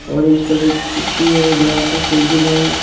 Orange colour की कुर्सी है बड़ा सा टेबल है।